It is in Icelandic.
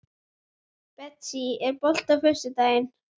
Síðan hljóp hann til Gissurar og tók hann við honum.